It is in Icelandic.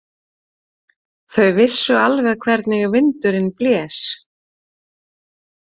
Þau vissu alveg hvernig vindurinn blés.